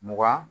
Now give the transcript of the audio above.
Mugan